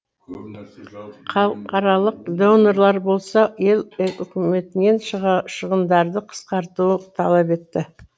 халықаралық донорлар болса ел үкіметінен шығындарды қысқартуды талап етті